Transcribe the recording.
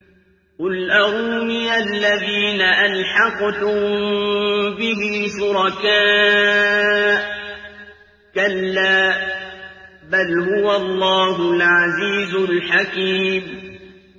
قُلْ أَرُونِيَ الَّذِينَ أَلْحَقْتُم بِهِ شُرَكَاءَ ۖ كَلَّا ۚ بَلْ هُوَ اللَّهُ الْعَزِيزُ الْحَكِيمُ